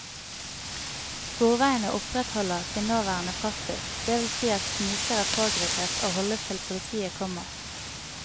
Sporveiene opprettholder sin nåværende praksis, det vil si at snikere pågripes og holdes til politiet kommer.